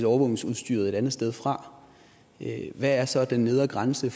overvågningsudstyret et andet sted fra hvad er så den nedre grænse